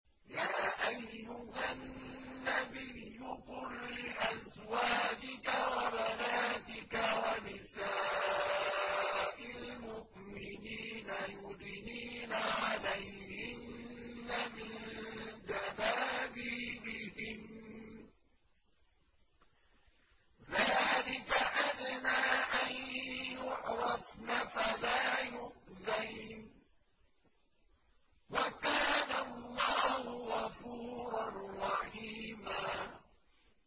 يَا أَيُّهَا النَّبِيُّ قُل لِّأَزْوَاجِكَ وَبَنَاتِكَ وَنِسَاءِ الْمُؤْمِنِينَ يُدْنِينَ عَلَيْهِنَّ مِن جَلَابِيبِهِنَّ ۚ ذَٰلِكَ أَدْنَىٰ أَن يُعْرَفْنَ فَلَا يُؤْذَيْنَ ۗ وَكَانَ اللَّهُ غَفُورًا رَّحِيمًا